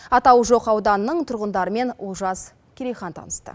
атауы жоқ ауданның тұрғындарымен олжас керейхан табысты